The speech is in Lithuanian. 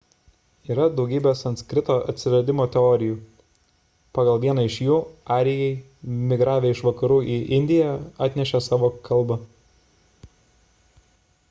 yra daugybė sanskrito atsiradimo teorijų pagal vieną iš jų arijai migravę iš vakarų į indiją atnešė savo kalbą